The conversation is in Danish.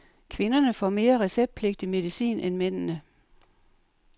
Kvinderne får mere receptpligtig medicin end mændene.